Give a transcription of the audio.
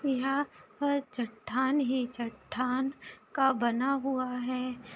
यहाँ पर चट्टान ही चट्टान का बना हुआ है।